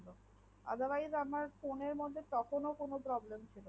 otherwise আমার phone এর মধ্যে তখন ও কোনো প্রব্লেম ও ছিলোনা